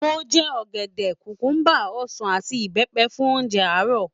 Mo jẹ ọ̀gẹ̀dẹ̀, kùkúbà, ọsàn àti ìbẹ́pẹ fún oúnjẹ àárọ̀.